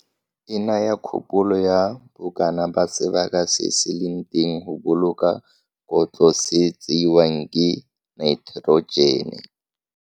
E naya kgopolo ya bokana ba sebaka se se leng teng go boloka kotlo se tseiwang ke naeterogene.